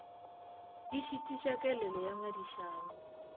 di šitiša kelelo ya ngangišano